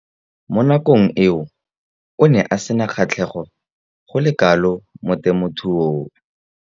Mo nakong eo o ne a sena kgatlhego go le kalo mo temothuong.